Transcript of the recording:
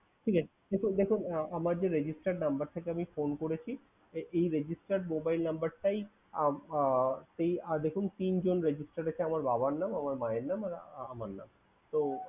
ঠিক আছে কিন্তু দেখুন আমার যে registered number থেকে আমি phone করেছি এই registered mobile number টাই উম আহ এই আহ দেখুন তিনজন registered আছে। আমার বাবার নাম, আমার মায়ের নাম আর আমার নাম। তো